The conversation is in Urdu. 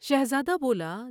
شہزادہ بولا ۔